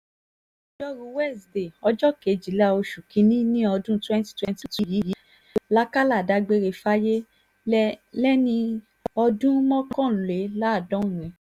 lọ́jọ́rùú wíṣídẹ̀ẹ́ ọjọ́ kejìlá oṣù kìn-ín-ní ọdún twenty twenty two yìí làkàlà dágbére fáyé lé lẹ́ni ọdún mọ́kànléláàádọ́rin